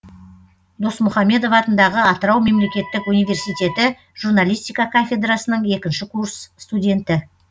досмұхамедов атындағы атырау мемлекеттік университеті журналистика кафедрасының екінші курс студенті